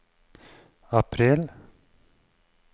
april